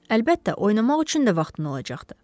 Əlbəttə, oynamaq üçün də vaxtın olacaqdı.